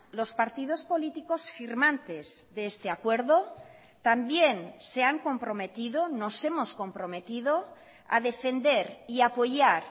los partidos políticos firmantes de este acuerdo también se han comprometido nos hemos comprometido a defender y apoyar